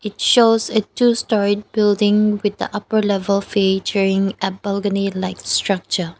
shows a two storeyed building with upper level featuring a balcony like structure.